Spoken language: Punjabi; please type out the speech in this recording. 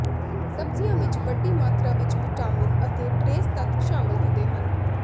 ਸਬਜ਼ੀਆਂ ਵਿੱਚ ਵੱਡੀ ਮਾਤਰਾ ਵਿੱਚ ਵਿਟਾਮਿਨ ਅਤੇ ਟਰੇਸ ਤੱਤ ਸ਼ਾਮਲ ਹੁੰਦੇ ਹਨ